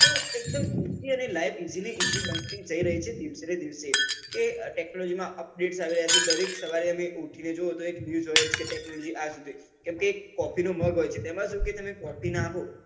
તો એક દમ easilyeasy બનતી જઈ રહી છે દિવસે ને દિવસે કે technology માં update દરેક સવારે કેમ કે coffee નો mug હોય છે તેમાં જો કે coffee નાખો